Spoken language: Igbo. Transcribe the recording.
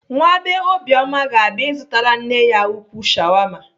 Nwa bee Obioma ga-abịa ịzụtara nne ya ukwuu shawama.